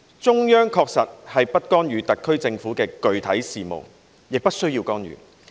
中央確實是不干預特別行政區的具體事務的，也不需要干預。